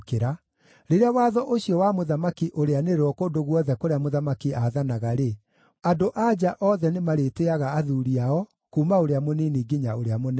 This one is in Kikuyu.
Rĩrĩa watho ũcio wa mũthamaki ũrĩanĩrĩrwo kũndũ guothe kũrĩa mũthamaki aathanaga-rĩ, andũ-a-nja othe nĩmarĩtĩĩaga athuuri ao, kuuma ũrĩa mũnini nginya ũrĩa mũnene.”